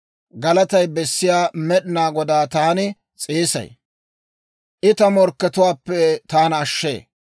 Galatay bessiyaa Med'inaa Godaa taani s'eesay; I ta morkkatuwaappe taana ashshee.